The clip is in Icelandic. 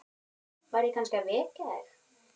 Var ég kannski að vekja þig?